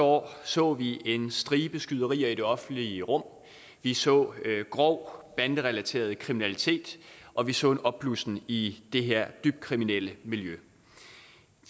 år så vi en stribe skyderier i det offentlige rum vi så grov banderelaterede kriminalitet og vi så en opblussen af i det her dybt kriminelle miljø